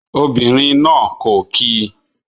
Obìnrin náà kò kí ì